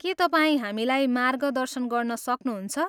के तपाईँ हामीलाई मार्गदर्शन गर्न सक्नुहुन्छ?